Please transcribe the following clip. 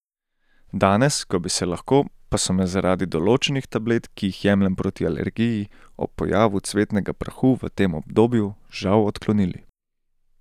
Danes, ko bi se lahko, pa so me zaradi določenih tablet, ki jih jemljem proti alergiji, ob pojavu cvetnega prahu v tem obdobju, žal odklonili.